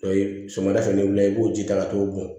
sɔgɔmada fɛ ni wulila i b'o ji ta ka t'o bɔn